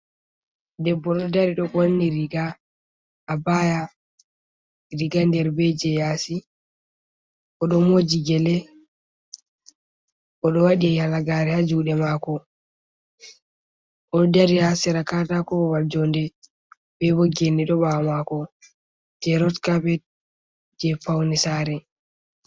Debbo ɗo dari ɗo wati riga abaya riga nder be je yasi oɗo moji gele oɗo wadi halagare ha juɗe mako oɗo dari ha sera katakowal babal jonde be bo gene ɗo ɓawo mako je rot capet je fauni sare.